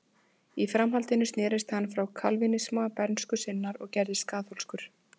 Í framhaldinu snerist hann frá kalvínisma bernsku sinnar og gerðist kaþólskur.